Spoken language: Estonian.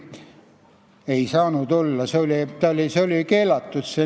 Ei saanud olla, see nimekiri oli keelatud.